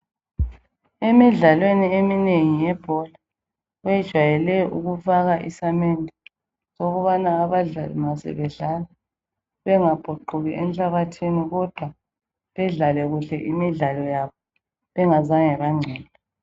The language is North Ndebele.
Emidlalweni eminengi yebhora bejwayele ukufaka isamende ukubana abadlali ma sebedlala bengabhuquki enhlabathini kodwa bedlale kuhle imidlalo yabo bengazange bangcola.